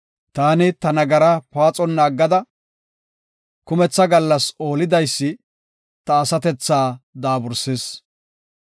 Taani ta nagaraa paaxonna aggada, kumetha gallas oolidaysi, ta asatethaa daabursis.